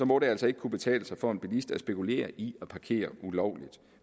må det altså ikke kunne betale sig for en bilist at spekulere i at parkere ulovligt